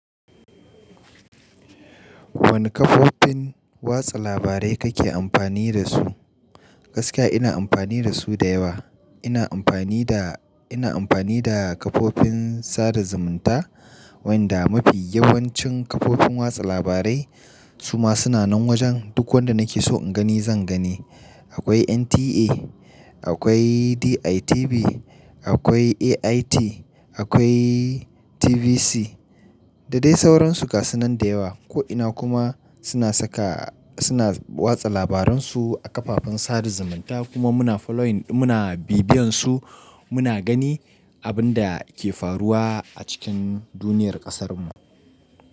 Wane kafofin watsa labarai kake amfani dasu? Gaskiya ina amfani da su da yawa. Ina amfani da, ina amfani da kafofin sada zumunta, wanda mafi yawancin kafofin watsa labarai su ma suna nan wajen, duk wanda nake so in gani zan gani. Akwai NTA, akwai DITV, akwai AIT, akwai TVC da dai sauransu gasunan da yawa. Ko ina kuma suna saka, suna watsa labaran su a kafafen sada zumunta kuma muna following, muna bibiyan su muna gani abun da ke faruwa a cikin duniyar ƙasarmu.